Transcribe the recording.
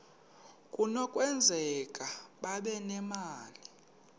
kunokwenzeka babe nemali